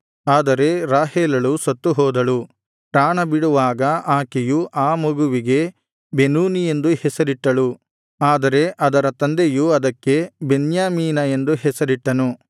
ಆದರೆ ರಾಹೇಲಳು ಸತ್ತುಹೋದಳು ಪ್ರಾಣಬಿಡುವಾಗ ಆಕೆಯು ಆ ಮಗುವಿಗೆ ಬೆನೋನಿ ಎಂದು ಹೆಸರಿಟ್ಟಳು ಆದರೆ ಅದರ ತಂದೆಯು ಅದಕ್ಕೆ ಬೆನ್ಯಾಮೀನ ಎಂದು ಹೆಸರಿಟ್ಟನು